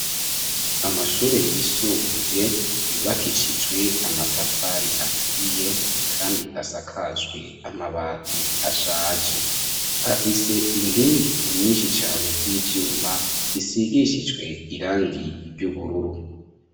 Amashure yisumbuye yubakishijwe amatafari aturiye , kandi asakajwe amabati ashaje. Afise inkingi inyinshi cane z'ivyuma zisigishijwe irangi ry'ubururu.